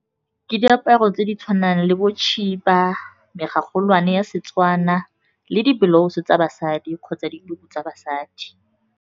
Ke diaparo tse di tshwanang le bo tshiba, megagolwane ya Setswana le diblauso tsa basadi kgotsa dituku tsa basadi.